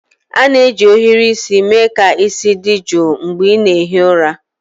A na-eji ohiri isi mee ka isi dị jụụ mgbe ị na-ehi ụra.